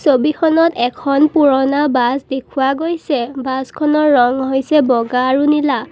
ছবিখনত এখন পুৰণা বাছ দেখুওৱা গৈছে বাছখনৰ ৰং হৈছে বগা আৰু নীলা।